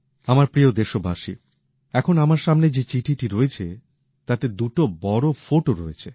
আমার প্রিয় দেশবাসী এখন আমার সামনে যে চিঠিটা রয়েছে তাতে দুটো বড়ো ফটো রয়েছে